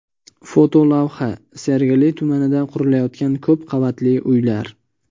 Fotolavha: Sergeli tumanida qurilayotgan ko‘p qavatli uylar .